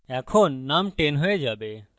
এখন num 10 হয়ে যাবে